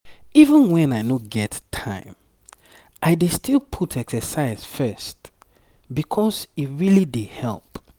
even when i no get time i dey still put exercise first because e really dey help.